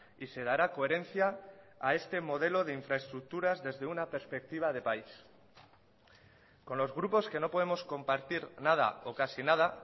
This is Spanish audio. y se dará coherencia a este modelo de infraestructuras desde una perspectiva de país con los grupos que no podemos compartir nada o casi nada